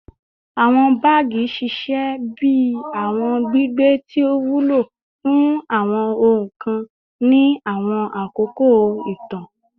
Awọn baagi ṣiṣẹ bi awọn gbigbe ti o wulo fun awọn ohun kan ni awọn akoko itan